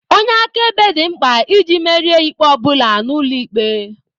Onye akaebe dị mkpa iji merie ikpe ọ bụla n'ụlọ ikpe